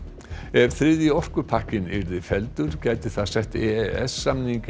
ef þriðji orkupakkinn yrði felldur gæti það sett e e s samninginn